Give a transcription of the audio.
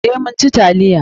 Eh, mun ci taliya.